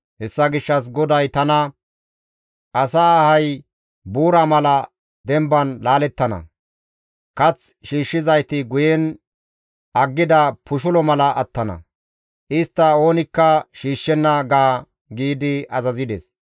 Hessa gishshas GODAY tana, « ‹Asa ahay buura mala demban laalettana; kath shiishshizayti guyen aggida pushulo mala attana; istta oonikka shiishshenna› ga» giidi azazides.